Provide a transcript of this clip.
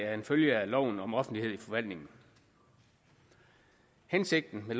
er en følge af loven om offentlighed i forvaltningen hensigten med